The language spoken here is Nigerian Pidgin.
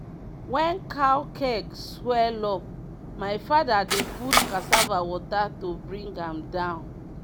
wen cow keg swell up my fada dey put cassava water to bring am down.